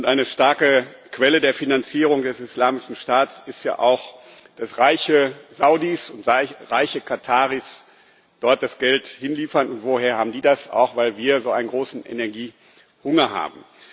Eine starke Quelle der Finanzierung des Islamischen Staats ist ja auch, dass reiche Saudis und reiche Kataris dort das Geld hinliefern. Woher haben die das? Auch weil wir so einen großen Energiehunger haben.